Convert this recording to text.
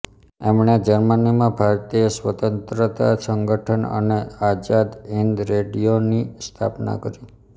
એમણે જર્મનીમાં ભારતીય સ્વતંત્રતા સંગઠન અને આઝાદ હિંદ રેડિઓની સ્થાપના કરી